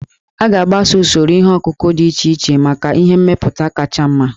A ga-agbaso usoro ihe ọkụkụ dị iche iche maka ihe mmepụta kacha mma